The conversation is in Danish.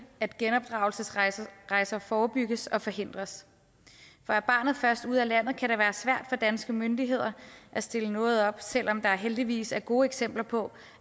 at genopdragelsesrejser forebygges og forhindres for er barnet først ude af landet kan det være svært for danske myndigheder at stille noget op selv om der heldigvis er gode eksempler på